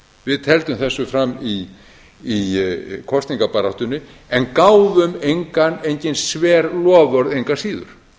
við tefldum þessu fram í kosningabaráttunni en gáfum engin sver loforð engu að síður